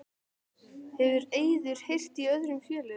Hefur Eiður heyrt í öðrum félögum?